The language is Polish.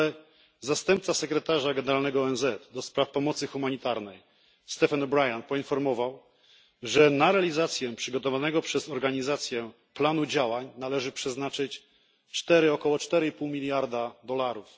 Jednak zastępca Sekretarza Generalnego ONZ do spraw pomocy humanitarnej Stephen O'Brian poinformował, że na realizację przygotowanego przez organizację planu działań należy przeznaczyć około 4,5 miliarda dolarów.